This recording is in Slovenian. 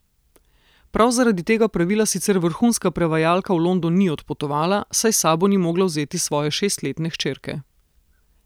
Prav zaradi tega pravila sicer vrhunska prevajalka v London ni odpotovala, saj s sabo ni mogla vzeti svoje šestletne hčerke.